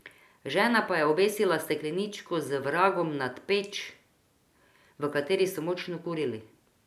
Žena pa je obesila stekleničko z vragom nad peč, v kateri so močno kurili.